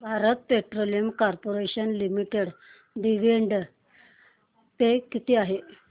Bharat petroleum corporation limited dividend pay किती आहे